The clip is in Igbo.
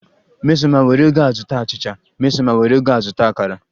Mmesoma, were ego a zụta achicha Mmesoma, were ego a zụta akara